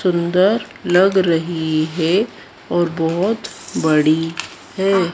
सुंदर लग रही है और बहोत बड़ी है।